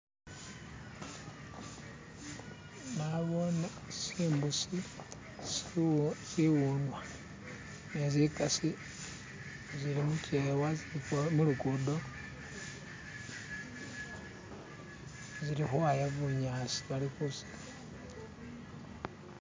nabone tsibusi ni iwunwa nizikasi zilimukyewa zilimulugudo, zili ukhwaya bunyasi